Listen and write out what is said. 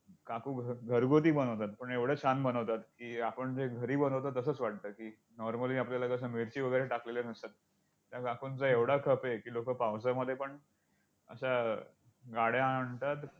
काकू घरगुती बनवतात! पण एवढं छान बनवतात की, आपण जे घरी बनवतो तसंच वाटतं की normally आपल्याला कसं मिरची वगैरे टाकलेले नसतात. त्या काकूंचा एवढा खप आहे की लोकं पावसामध्ये पण अशा गाड्या आणतात.